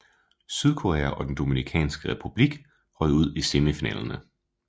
Sydkorea og den Dominikanske Republik røg ud i semifinalerne